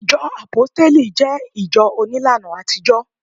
ìjọ àpóstélì je ìjọ onílàna àtijó